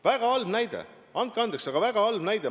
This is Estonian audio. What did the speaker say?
Väga halb näide, andke andeks, aga väga halb näide.